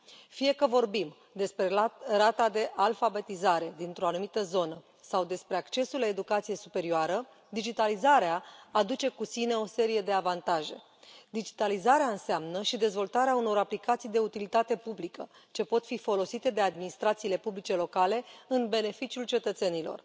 Fie că vorbim despre rata de alfabetizare dintr o anumită zonă sau despre accesul la educație superioară, digitalizarea aduce cu sine o serie de avantaje. Digitalizarea înseamnă și dezvoltarea unor aplicații de utilitate publică ce pot fi folosite de administrațiile publice locale în beneficiul cetățenilor.